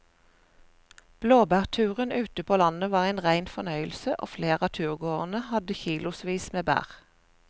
Blåbærturen ute på landet var en rein fornøyelse og flere av turgåerene hadde kilosvis med bær.